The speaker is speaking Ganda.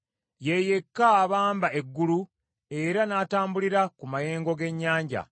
Ye yekka abamba eggulu era n’atambulira ku mayengo g’ennyanja.